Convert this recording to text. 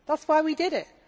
That is why we did it.